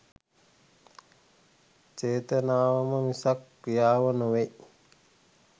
චේතනාවම මිසක් ක්‍රියාව නොවෙයි